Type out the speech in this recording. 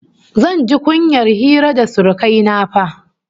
Zan ji kunyar hira da surukai na fa!